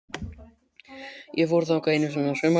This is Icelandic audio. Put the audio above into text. Ég fór þangað einu sinni að sumarlagi.